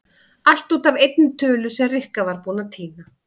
Allt út af einni tölu sem Rikka var búin að týna.